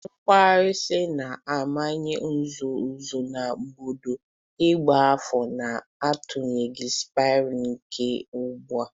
Kwaurisi na-amanye nzuzo nzuzo na bọọdụ ịgba afa, na-atụgharị spirals nke uba.